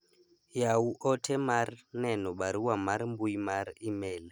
yawu ote mar neno barua mar mbui mar email